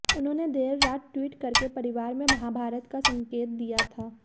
उन्होंने देर रात ट्वीट करके परिवार में महाभारत का संकेत दिया था